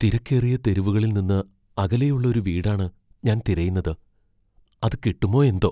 തിരക്കേറിയ തെരുവുകളിൽ നിന്ന് അകലെയുള്ള ഒരു വീടാണ് ഞാൻ തിരയുന്നത്, അത് കിട്ടുമോ എന്തോ!